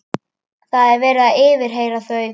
Það er verið að yfirheyra þau.